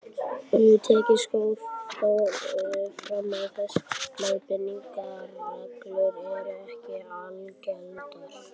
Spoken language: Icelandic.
Tekið skal þó fram að þessar leiðbeiningarreglur eru ekki algildar.